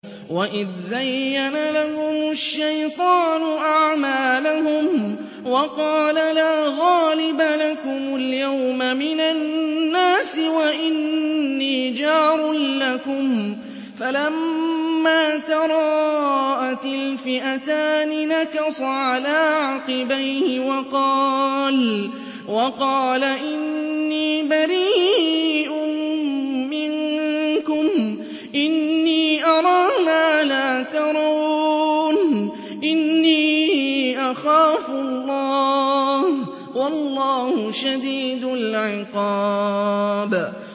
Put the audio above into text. وَإِذْ زَيَّنَ لَهُمُ الشَّيْطَانُ أَعْمَالَهُمْ وَقَالَ لَا غَالِبَ لَكُمُ الْيَوْمَ مِنَ النَّاسِ وَإِنِّي جَارٌ لَّكُمْ ۖ فَلَمَّا تَرَاءَتِ الْفِئَتَانِ نَكَصَ عَلَىٰ عَقِبَيْهِ وَقَالَ إِنِّي بَرِيءٌ مِّنكُمْ إِنِّي أَرَىٰ مَا لَا تَرَوْنَ إِنِّي أَخَافُ اللَّهَ ۚ وَاللَّهُ شَدِيدُ الْعِقَابِ